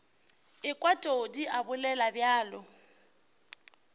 ekwa todi a bolela bjalo